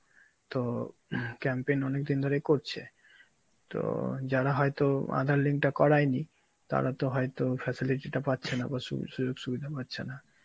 তো campaign অনেকদিন ধরেই করছে, তো যারা হয়ত আধার link টা করাইনি তারা তো হয়তো facility টা পাচ্ছে না বা সু সু~ সুবিধা হচ্ছে না,